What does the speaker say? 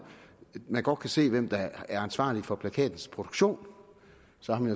man godt kan se hvem der er ansvarlig for plakatens produktion